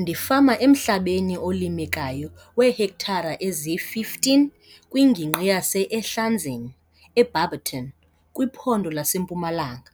Ndifama emhlabeni olimekayo weehektare eziyi-15 kwingingqi yase-Ehlanzeni, eBarbeton, kwiPhondo laseMpumalanga.